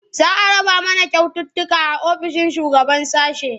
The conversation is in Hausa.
Za a raba mana kyaututtuka a ofishin shugaban sashe.